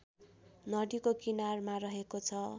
नदिको किनारमा रहेको छ